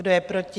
Kdo je proti?